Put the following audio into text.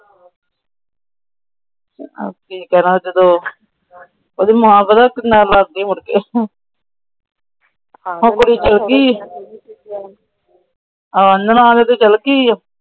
ਕੀ ਕਰਾਂ ਜਦੋ? ਉਹਂਦੀ ਮਾਂ ਪਤਾ ਕਿੰਨਾ ਲੜਦੀ ਮੁੜ ਕੇ। ਉਹ ਕੁੜੀ ਚਾਲੀ ਗਈ, ਨਨਾਣ ਉਹਦੀ ਚਲੀ ਗਈ।